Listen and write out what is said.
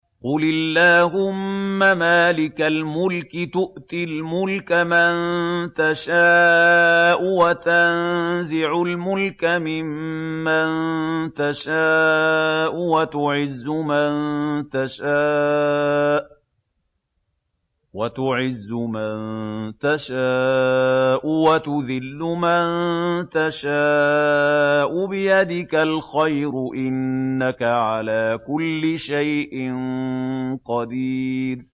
قُلِ اللَّهُمَّ مَالِكَ الْمُلْكِ تُؤْتِي الْمُلْكَ مَن تَشَاءُ وَتَنزِعُ الْمُلْكَ مِمَّن تَشَاءُ وَتُعِزُّ مَن تَشَاءُ وَتُذِلُّ مَن تَشَاءُ ۖ بِيَدِكَ الْخَيْرُ ۖ إِنَّكَ عَلَىٰ كُلِّ شَيْءٍ قَدِيرٌ